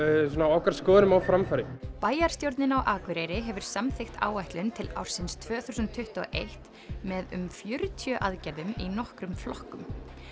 okkar skoðunum á framfæri bæjarstjórnin á Akureyri hefur samþykkt áætlun til ársins tvö þúsund tuttugu og eitt með um fjörutíu aðgerðum í nokkrum flokkum